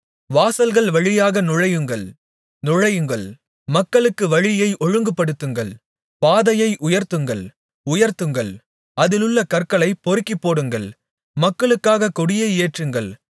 வாசல்கள் வழியாக நுழையுங்கள் நுழையுங்கள் மக்களுக்கு வழியை ஒழுங்குபடுத்துங்கள் பாதையை உயர்த்துங்கள் உயர்த்துங்கள் அதிலுள்ள கற்களைப் பொறுக்கிப்போடுங்கள் மக்களுக்காகக் கொடியை ஏற்றுங்கள்